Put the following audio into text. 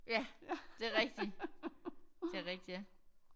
Ja det er rigtigt det er rigtigt ja